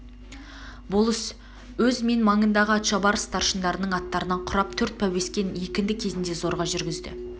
болыс өз мен маңындағы атшабар старшындарының аттарынан құрап төрт пәуескен екінді кезінде зорға жүргізді